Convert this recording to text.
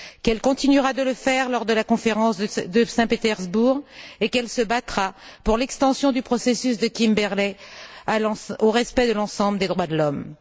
qu'elle continuera de le faire lors de la conférence de Saint Pétersbourg et qu'elle se battra pour l'extension du processus de Kimberley au respect de l'ensemble des droits de l'homme